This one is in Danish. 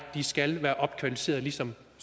skal de være opkvalificeret ligesom